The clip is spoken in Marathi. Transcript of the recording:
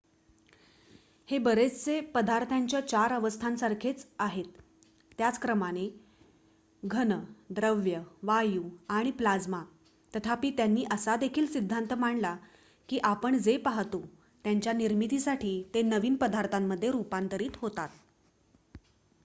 हे बरेचसे पदार्थाच्या चार अवस्थांसारखेच आहे त्याच क्रमाने: घन द्रव वायू आणि प्लाज्मा तथापि त्यांनी असा देखील सिद्धांत मांडला की आपण जे पाहतो त्याच्या निर्मितीसाठी ते नवीन पदार्थांमध्ये रुपांतरित होतात